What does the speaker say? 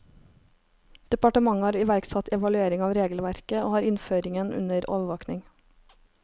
Departementet har iverksatt evaluering av regelverket, og har innføringen under overvåking.